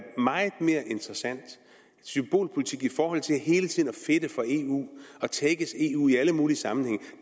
meget mere interessant symbolpolitik i forhold til hele tiden at fedte for eu og tækkes eu i alle mulige sammenhænge